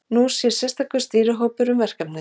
Nú sér sérstakur stýrihópur um verkefnið.